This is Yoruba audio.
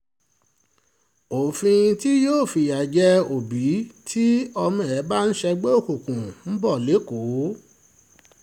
òfin tí yóò fìyà jẹ òbí tí ọmọ ẹ bá ń ṣègbè òkùnkùn ń bọ̀ lẹ́kọ̀ọ́